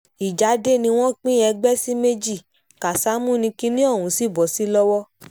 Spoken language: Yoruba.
ìjà dé wọ́n pín ẹgbẹ́ sí méjì kásámù ní kinní ọ̀hún sì bọ́ sí lọ́wọ́